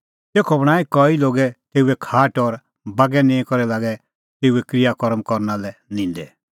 तेखअ बणांईं कई लोगै तेऊए खाट और बागै निंईं करै लागै तेऊए क्रिया कर्म करना लै निंदै